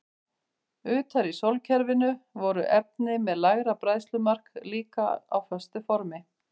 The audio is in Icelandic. Utar í sólkerfinu voru efni með lægra bræðslumark líka á föstu formi.